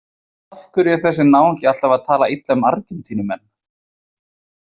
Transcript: Af hverju er þessi náungi alltaf að tala illa um Argentínumenn?